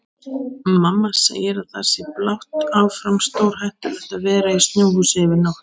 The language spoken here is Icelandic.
Mamma segir að það sé blátt áfram stórhættulegt að vera í snjóhúsi yfir nótt.